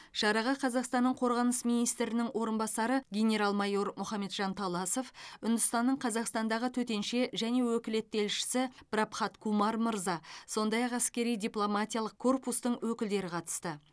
шараға қазақстанның қорғаныс министрінің орынбасары генерал майор мұхамеджан таласов үндістанның қазақстандағы төтенше және өкілетті елшісі прабхат кумар мырза сондай ақ әскери дипломатиялық корпустың өкілдері қатысты